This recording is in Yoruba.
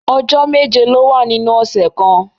Ọjọ́ méje ló wà nínú ọ̀sẹ̀ kan